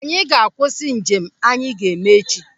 Anyị ga-akwụsị njem anyị ga-eme echi.